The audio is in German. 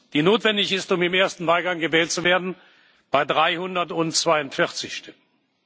die notwendig ist, um im ersten Wahlgang gewählt zu werden, bei 342 Stimmen.